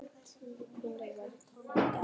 Hvenær verður það gert?